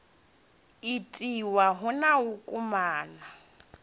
itiwa hu na u kwamana